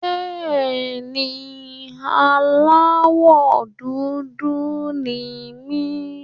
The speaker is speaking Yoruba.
Bẹ́ẹ̀ni, aláwọ̀ dúdú ni mí.